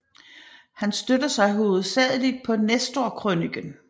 Han støtter sig hovedsagelig på Nestorkrøniken